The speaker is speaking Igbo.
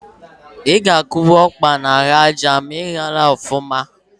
I ga-akụ bụmpa n’ahụ aja ma ịyaghị ọfụma